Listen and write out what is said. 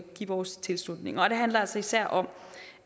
give vores tilslutning og det handler altså især om